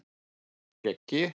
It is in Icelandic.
Skeggi